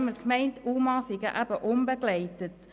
Ich meinte immer, UMA seien eben unbegleitet.